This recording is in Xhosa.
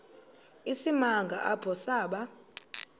isimanga apho saba